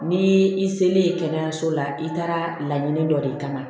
Ni i selen kɛnɛyaso la i taara laɲini dɔ de kama